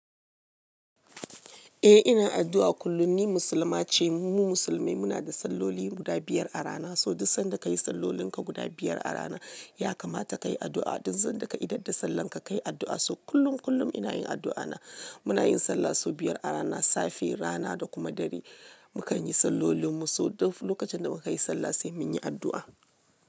Eh ina addu'a kullum ni musulma ce. Mu musulmai muna da salloli guda biyar a rana, so duk sanda ka yi sallolin ka guda biyar a rana ya kamata ka yi addu'a. Duk sanda ka idada sallan ka ka yi addu'a. So kullum kullum ina yin addu'a na. Muna yin sallah so biyar a rana, safe, rana da kuma dare. Mu kan yi sallolin mu, so duk lokacin da mu ka yi sallah sai mun yi addu'a.